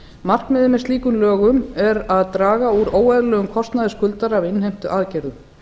markmiðið með slíkum lögum er að draga úr óeðlilegum kostnaði skuldara af innheimtuaðgerðum